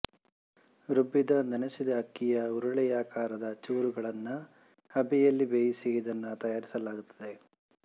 ರುಬ್ಬಿದ ನೆನೆಸಿದ ಅಕ್ಕಿಯ ಉರುಳೆಯಾಕಾರದ ಚೂರುಗಳನ್ನು ಹಬೆಯಲ್ಲಿ ಬೇಯಿಸಿ ಇದನ್ನು ತಯಾರಿಸಲಾಗುತ್ತದೆ